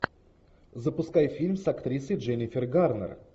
запускай фильм с актрисой дженнифер гарнер